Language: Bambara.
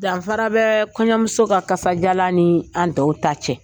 Danfara bɛ kɔɲɔmuso ka kasadiyalan ni an tɔw ta cɛ